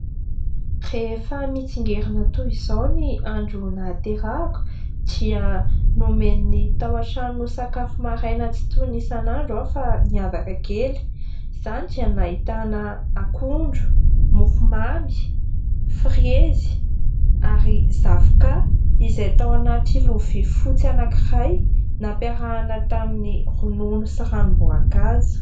Rehefa mitsingerina toy izao ny andro nahaterahako dia nomen'ny tao an-trano sakafo maraina tsy toy ny isan'andro aho fa niavaka kely. Izany dia nahitana akondro, mofomamy, frezy ary zavoka izay tao anaty lovia fotsy anankiray nampiarahana tamin'ny ronono sy ranom-boankazo.